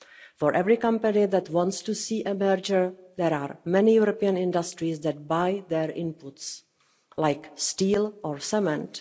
For every company that wants to see a merger there are many European industries that buy their inputs, such as steel or cement.